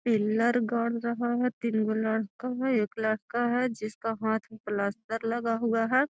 Pillar गाड़ रहा है तीन गो लड़का है एक लड़का है जिसका हाथ में पलास्तर लगा हुआ है।